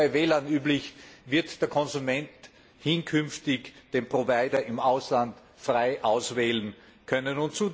Und so wie bei Wählern üblich, wird der Konsument künftig den Provider im Ausland frei auswählen können.